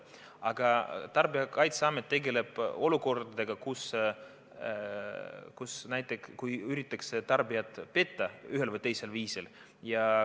Aga Tarbijakaitseamet tegeleb olukordadega, kus üritatakse tarbijat ühel või teisel viisil petta.